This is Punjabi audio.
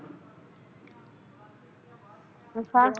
ਅੱਛਾ